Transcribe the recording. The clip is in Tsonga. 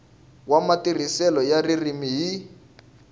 wa matirhiselo ya ririmi hi